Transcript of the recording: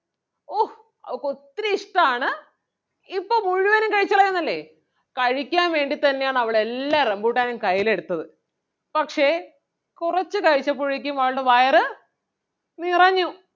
ഓഹ് അവക്കൊത്തിരി ഇഷ്ടാണ് ഇപ്പം മുഴുവനും കഴിച്ചുകളയും എന്നല്ലേ കഴിക്കാൻ വേണ്ടി തന്നെ ആണ് അവളെല്ലാ റംബൂട്ടാനും കയ്യിൽ എടുത്തത് പക്ഷേ കുറച്ച് കഴിച്ചപ്പോഴേക്കും അവൾടെ വയറ് നിറഞ്ഞു.